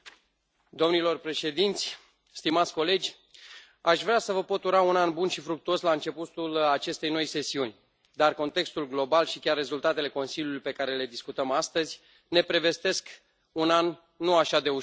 Domnilor președinți, stimați colegi, aș vrea să vă pot ura un an bun și fructuos la începutul acestei noi sesiuni, dar contextul global și chiar rezultatele Consiliului pe care le discutăm astăzi ne prevestesc un an nu așa de ușor.